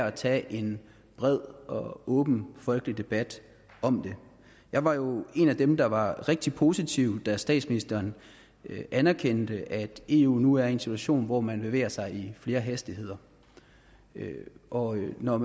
at tage en bred og åben folkelig debat om det jeg var jo en af dem der var rigtig positiv da statsministeren anerkendte at eu nu er i en situation hvor man bevæger sig i flere hastigheder og når